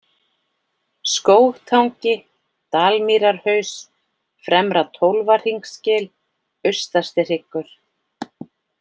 Skógtangi, Dalmýrarhaus, Fremra-Tólfahringsgil, Austastihryggur